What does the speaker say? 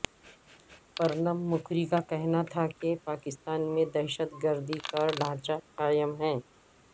پرنب مکھری کا کہنا تھاکہ پاکستان میں دہشتگردی کا ڈھانچہ قائم ہے